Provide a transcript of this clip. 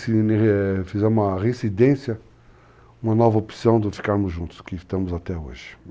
Fizemos uma residência, uma nova opção de ficarmos juntos, que estamos até hoje.